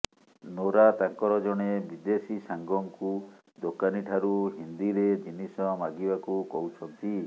Nora ତାଙ୍କର ଜଣେ ବିଦେଶୀ ସାଙ୍ଗକୁ ଦୋକାନୀଠାରୁ ହିନ୍ଦିରେ ଜିନିଷ ମାଗିବାକୁ କହୁଛନ୍ତି